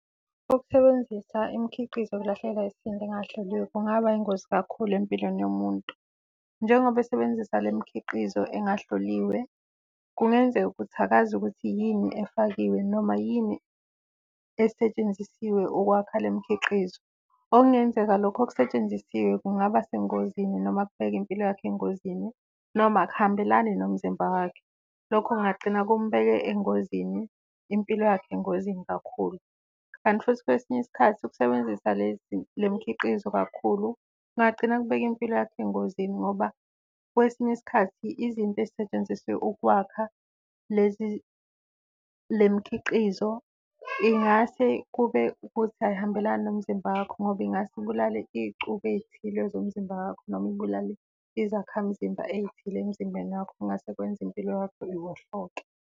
Ukusebenzisa imikhiqizo yokulahlekelwa isisindo engahloliwe kungaba yingozi kakhulu empilweni yomuntu. Nengoba esebenzisa le mikhiqizo engahloliwe kungenzeka ukuthi akazi ukuthi yini efakiwe noma yini esetshenzisiwe ukwakha le mikhiqizo, okungenzeka lokho okusetshenzisiwe kungaba sengozini, noma kubeke impilo yakhe engozini, noma akuhambelani nomzimba wakhe. Lokho kungagcina kumbeke engozini, impilo yakhe engozini kakhulu. Kanti futhi kwesinye isikhathi ukusebenzisa le mikhiqizo kakhulu kungagcina kubeka impilo yakho engozini ngoba kwesinye isikhathi izinto ezisetshenziswe ukwakha le mikhiqizo ingase kube ukuthi ayihambelani nomzimba wakho. Ngoba ingase ibulale iy'cubu ey'thile zomzimba wakho noma ibulale izakhamzimba ey'thile emzimbeni wakho. Kungase kwenze impilo yakho iwohloke.